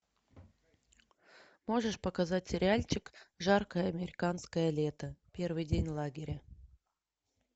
можешь показать сериальчик жаркое американское лето первый день лагеря